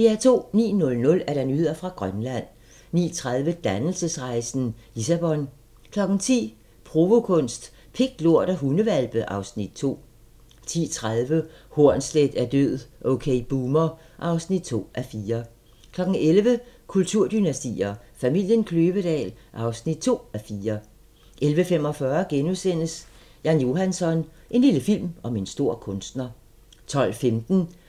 09:00: Nyheder fra Grønland 09:30: Dannelsesrejsen - Lissabon 10:00: Provokunst: Pik, lort og hundehvalpe (Afs. 2) 10:30: Hornsleth er død - OK Boomer (2:4) 11:00: Kulturdynastier: Familien Kløvedal (2:4) 11:45: Jan Johansson - en lille film om en stor kunstner * 12:15: